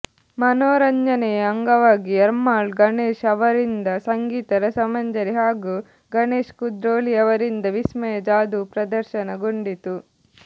ಮನೋರಂಜನೆಯ ಅಂಗವಾಗಿ ಎರ್ಮಾಳ್ ಗಣೇಶ ಅವರಿಂದ ಸಂಗೀತ ರಸಮಂಜರಿ ಹಾಗೂ ಗಣೇಶ್ ಕುದ್ರೋಳಿಯವರಿಂದ ವಿಸ್ಮಯ ಜಾದೂ ಪ್ರದರ್ಶನ ಗೊಂಡಿತು